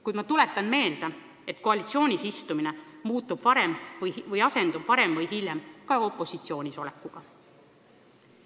Kuid ma tuletan meelde, et koalitsioonis istumine asendub varem või hiljem opositsioonis olemisega.